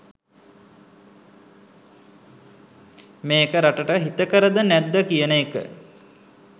මේක රටට හිතකරද නැද්ද කියන එක